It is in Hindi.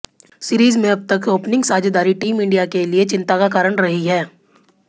सीरीज में अब तक ओपनिंग साझेदारी टीम इंडिया के लिए चिंता का कारण रही है